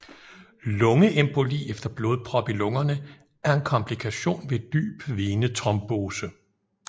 Lungeemboli eller blodprop i lungerne er en komplikation ved dyb venetrombose